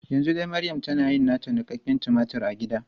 Yanzu dai maryam tana yin nata niƙaƙƙen tumatur a gida.